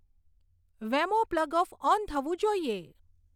વેમો plug off on થવું જોઈએ